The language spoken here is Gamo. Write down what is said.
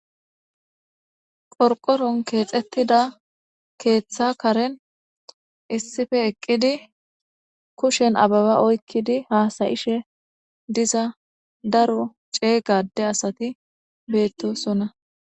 Gorqoron keexettida keeththa karen issife eqqidi kushen ababa oykkidi haasayishe diza daro ceeygade asati beettosonna.